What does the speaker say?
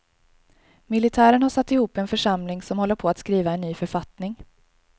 Militären har satt ihop en församling som håller på att skriva en ny författning.